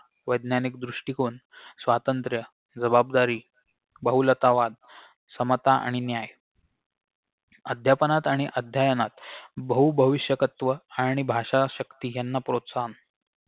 वैज्ञानिक दृष्टिकोन स्वातंत्र्य जबाबदारी बहुलतावाद समता आणि न्याय अध्यापनात आणि अध्ययनात बहू भविष्यकत्व आणि भाषाशक्ती याना प्रोत्साहन